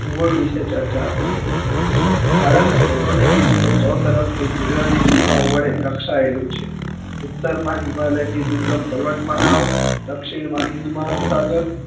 ભૂગોળ વિશે ચર્ચા કરીએ ભારત ભોગોલીક રીતે ચોતરફ થી કુદરતી સીમાને હોવાને કારણે રક્ષા એલુ છે ઉતરમાં હિમાલય ની દુર્ગમ પર્વત માળાઓ દક્ષિણમાં હિન્દ મહાસાગર